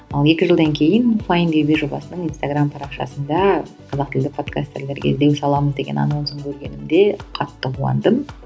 ал екі жылдан кейін файндюби жобасының инстаграмм парақшасында қазақ тілді подкастерлерге іздеу саламыз деген анонсын көргенімді қатты қуандым